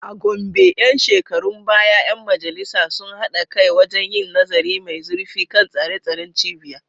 A Gombe ‘yan shekarun baya ‘yan majalisar sun haɗa kai wajen yin nazari mai zurfi kan tsare-tsaren cibiyar.